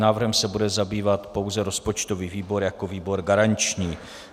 Návrhem se bude zabývat pouze rozpočtový výbor jako výbor garanční.